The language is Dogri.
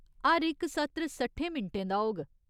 हर इक सत्र सट्ठें मिंटें दा होग।